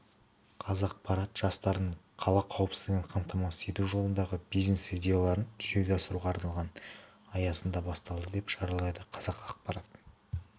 қазақпарат жастардың қала қауіпсіздігін қамтамасыз ету жолындағы бизнес-идеяларын жүзеге асыруға арналған аясында басталды деп хабарлайды қазақпарат